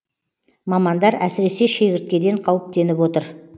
мамандар әсіресе шегірткеден қауіптеніп отыр